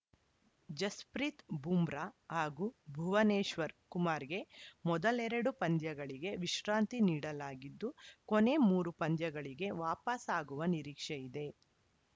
ಜಸ್‌ಪ್ರೀತ್‌ ಬೂಮ್ರಾ ಹಾಗೂ ಭುವನೇಶ್ವರ್‌ ಕುಮಾರ್‌ಗೆ ಮೊದಲೆರಡು ಪಂದ್ಯಗಳಿಗೆ ವಿಶ್ರಾಂತಿ ನೀಡಲಾಗಿದ್ದು ಕೊನೆ ಮೂರು ಪಂದ್ಯಗಳಿಗೆ ವಾಪಸಾಗುವ ನಿರೀಕ್ಷೆ ಇದೆ